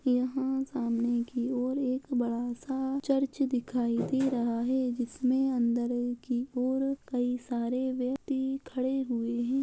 यहां सामने की ओर एक बड़ा सा चर्च दिखाई दे रहा है जिसमे अंदरों की ओर कई सारे व्यक्ति खड़े हुए हैं।